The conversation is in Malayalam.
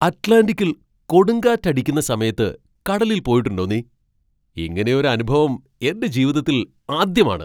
അറ്റ്ലാന്റിക്കിൽ കൊടുങ്കാറ്റക്കടിക്കുന്ന സമയത്ത് കടലിൽ പോയിട്ടുണ്ടോ നീ? ഇങ്ങനെ ഒരു അനുഭവം എൻ്റെ ജീവിതത്തിൽ ആദ്യമാണ്.